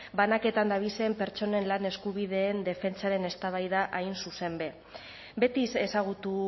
banaketan dabizen pertsonen lan eskubideen defentsaren eztabaida hain zuzen be beti ezagutu